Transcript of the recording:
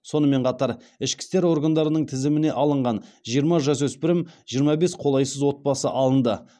сонымен қатар ішкі істер органдарының тізіміне алынған жиырма жасөспірім жиырма бес қолайсыз отбасы алынды